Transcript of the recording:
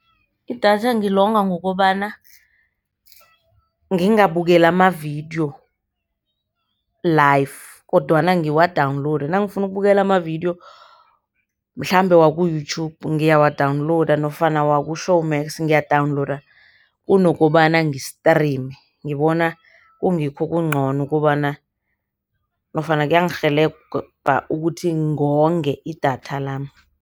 Idatha ngilonga ngokobana ngingabukeli amavidiyo live, kodwana ngiwadawunilowude nangifuna ukubukela amavidiyo mhlambe waku-Youtube ngiyawadawulowuda nofana waku-Showmax ngiyawadawunilowuda kunokobana ngi-stream. Ngibona kungikho okuncono ukobana nofana kuyangirhelebha ukuthi ngonge idatha lami.